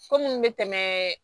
Ko minnu bɛ tɛmɛ